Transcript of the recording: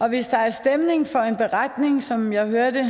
hvis der er stemning for en beretning som jeg hørte